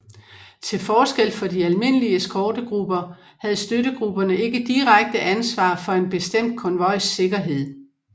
Til forskel for de almindelige eskortegrupper havde støttegrupperne ikke direkte ansvar for en bestemt konvojs sikkerhed